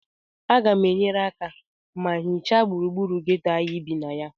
Aga m enyere aka ma hichaa gburugburu geto a anyị bi na ya